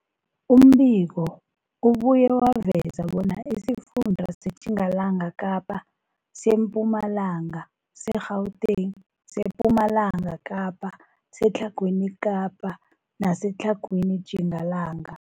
Umbiko ubuye waveza bona isifunda seTjingalanga Kapa, seMpumalanga, seGauteng, sePumalanga Kapa, seTlhagwini Kapa neseTlhagwini Tjingalanga.